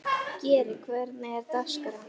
Geri, hvernig er dagskráin?